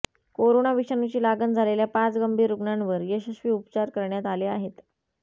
corona विषाणूची लागण झालेल्या पाच गंभीर रुग्णांवर यशस्वी उपचार करण्यात आले आहेत